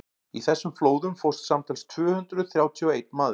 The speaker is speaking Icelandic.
í þessum flóðum fórst samtals tvö hundruð þrjátíu og einn maður